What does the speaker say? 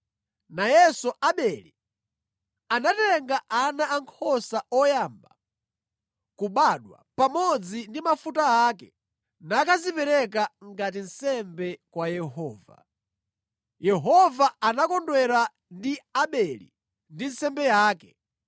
Nayenso Abele anatenga ana ankhosa oyamba kubadwa pamodzi ndi mafuta ake nakazipereka ngati nsembe kwa Yehova. Yehova anakondwera ndi Abele ndi nsembe yake.